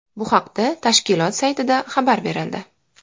Bu haqda tashkilot saytida xabar berildi .